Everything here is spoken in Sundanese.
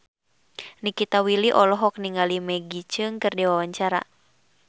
Nikita Willy olohok ningali Maggie Cheung keur diwawancara